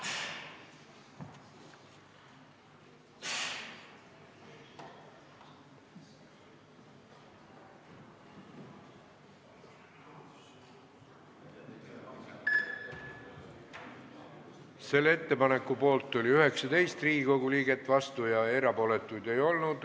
Hääletustulemused Selle ettepaneku poolt oli 19 Riigikogu liiget, vastuolijaid ega erapooletuid ei olnud.